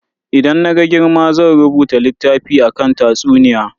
Idan na girma zan rubuta littafi akan tatsuniya.